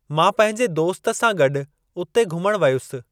मां पंहिंजे दोस्त सां गॾु उते घुमण वियुसि।